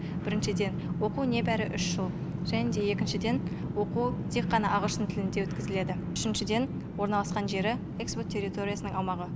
біріншіден оқу небәрі үш жыл және де екіншіден оқу тек қана ағылшын тілінде өткізіледі үшіншіден орналасқан жері экспо территориясының аумағы